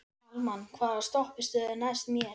Kalman, hvaða stoppistöð er næst mér?